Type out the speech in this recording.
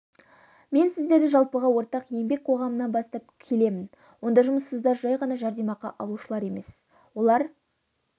мен сіздерді жалпыға ортақ еңбек қоғамына бастап келемін онда жұмыссыздар жай ғана жәрдемақы алушылар емес олар